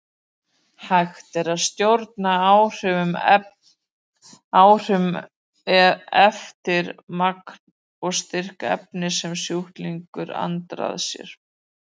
Hægt er að stjórna áhrifunum eftir magni og styrk efnis sem sjúklingur andar að sér.